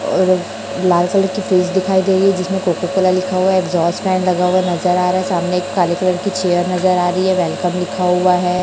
और एक लाल कलर की फ्रीज़ दिखाई दे रही है जिसमें कोको कोला लिखा हुआ है एग्जॉस्ट फैन लगा हुआ नज़र आ रहा है सामने एक काले कलर की चेयर नज़र आ रही है वेलकम लिखा हुआ है।